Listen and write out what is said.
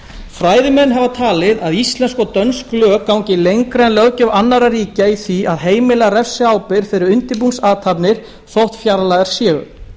fræðimenn hafa talið að íslensk og dönsk lög gangi lengra en löggjöf annarra ríkja í því að heimila refsiábyrgð fyrir undirbúningsathafnir þótt fjarlægar séu